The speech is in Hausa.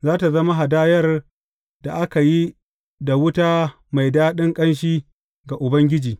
Za tă zama hadayar da aka yi da wuta mai daɗin ƙanshi ga Ubangiji.